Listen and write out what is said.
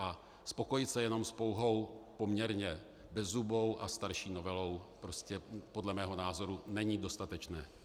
A spokojit se jenom s pouhou poměrně bezzubou a starší novelou prostě podle mého názoru není dostatečné.